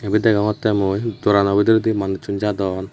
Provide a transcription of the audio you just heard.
ibet deongotte mui dorano bidirendi manucchun jadon.